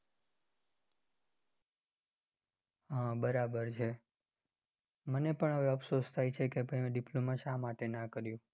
હમ બરાબર છે, મને પણ હવે અપસોસ થાય છે કે મેં diploma શા માટે નાં કર્યું.